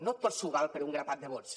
no tot s’hi val per un grapat de vots